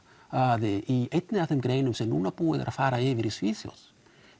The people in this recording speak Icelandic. að í einni af þeim greinum sem núna er búið að fara yfir í Svíþjóð